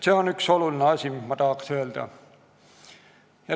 See on üks oluline asi, mis ma tahan öelda.